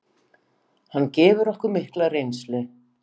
Hann gefur okkur mikla reynslu.